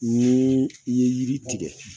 Ni i ye yiri tigɛ